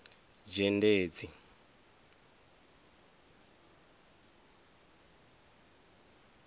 dzhendedzi